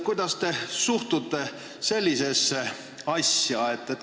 Kuidas te suhtute sellisesse asja?